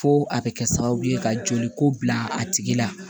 Fo a bɛ kɛ sababu ye ka joli ko bila a tigi la